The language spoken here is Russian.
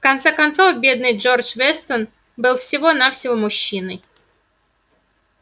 в конце концов бедный джордж вестон был всего-навсего мужчиной